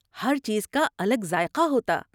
ہر چیز کا الگ ذائقہ ہوتا۔